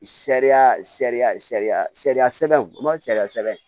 Sariya sariya sariya sariya sɛbɛn o man sariya sɛbɛn